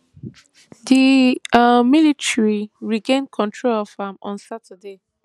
di um military regain control of am on saturday